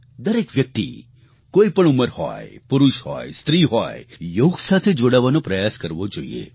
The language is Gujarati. દરેક વ્યક્તિ કોઈપણ ઉંમર હોય પુરુષ હોય સ્ત્રી હોય યોગ સાથે જોડાવાનો પ્રયાસ કરવો જોઈએ